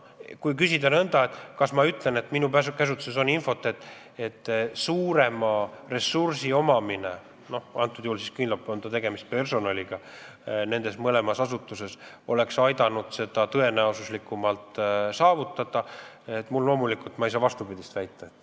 Kui te küsite, kas minu käsutuses on infot, et enama ressursi omamine – ma pean silmas personali – nendes mõlemas asutuses oleks aidanud seda suurema tõenäosusega ära hoida, siis loomulikult ma ei saa vastupidist väita.